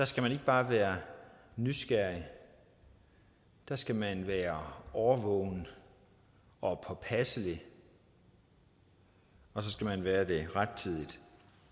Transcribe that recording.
skal man ikke bare være nysgerrig der skal man være årvågen og påpasselig og så skal man være det rettidigt